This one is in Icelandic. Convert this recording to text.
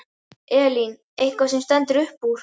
Elín: Eitthvað sem stendur upp úr?